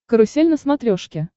карусель на смотрешке